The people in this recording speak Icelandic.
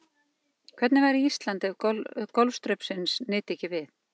Hvernig væri Ísland ef golfstraumsins nyti ekki við?